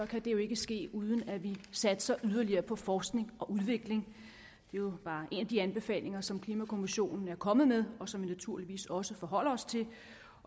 det jo ikke ske uden at vi satser yderligere på forskning og udvikling det jo bare en af de anbefalinger som klimakommissionen er kommet med og som vi naturligvis også forholder os til